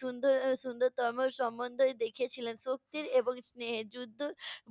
সুন্দ~ এর সুন্দরতম সম্বন্ধই দেখিয়ে ছিলেন, শক্তির এবং স্নেহের যুদ্ধ